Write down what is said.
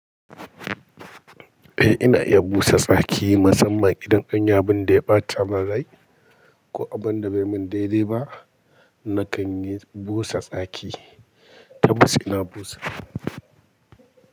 Eh ina iya busa tsaki musamman idan an yi abun da ya ɓatamin rai ko abun da bai min daidai ba nakan yi busa tsaki. Tabbas ina busa.